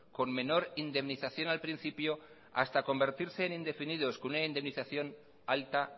con menor indemnización al principio hasta convertirse en indefinidos con una indemnización alta